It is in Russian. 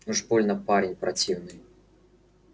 уж больно парень противный